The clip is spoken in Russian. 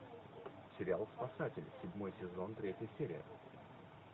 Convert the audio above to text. сериал спасатели седьмой сезон третья серия